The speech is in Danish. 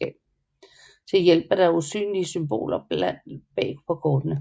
Til hjælp er der usynlige symboler bag på kortene